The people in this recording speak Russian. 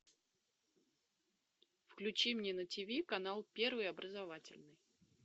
включи мне на тиви канал первый образовательный